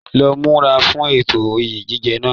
Lọ múra fún ètò oyè jíjẹ náà!